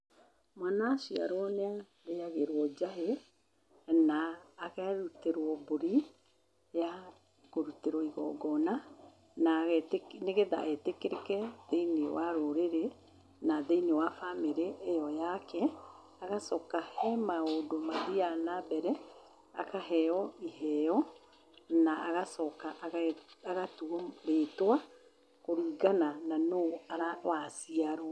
Mwana aciarwo nĩ arĩagĩrwo njahĩ, na akarutĩrwo mbũri ya kũrutĩrwo igongoona, nĩgethe etĩkĩrĩke thĩiniĩ wa rũrĩrĩ na thĩinĩ wa bamĩrĩ ĩyo yake. Agacoka, he maũndũ mathiaga nambere, akaheo iheo na agacoka agatuo rĩtwa kũringana na nũ waciarwo.